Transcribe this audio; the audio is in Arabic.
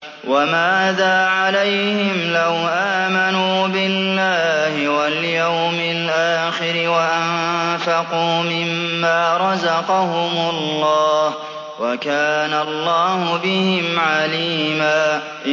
وَمَاذَا عَلَيْهِمْ لَوْ آمَنُوا بِاللَّهِ وَالْيَوْمِ الْآخِرِ وَأَنفَقُوا مِمَّا رَزَقَهُمُ اللَّهُ ۚ وَكَانَ اللَّهُ بِهِمْ عَلِيمًا